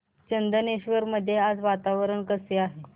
चंदनेश्वर मध्ये आज वातावरण कसे आहे